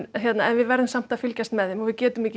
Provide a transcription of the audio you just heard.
við verðum samt að fylgjast með þeim og við getum ekki